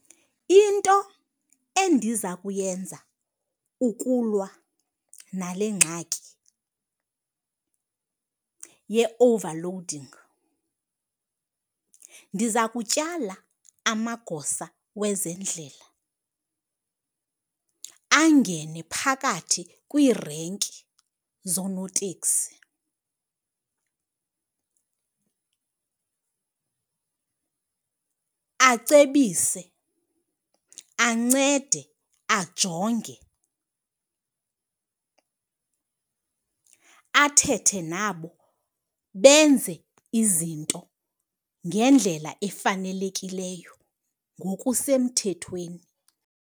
Into endiza kuyenza ukulwa nale ngxaki ye-overloading, ndiza kutyala amagosa wezendlela angene phakathi kwiirenki zoonotekisi acebise, ancede ajonge, athethe nabo benze izinto ngendlela efanelekileyo ngokusemthethweni.